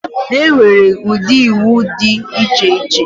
Enwere ụdị iwu dị iche iche.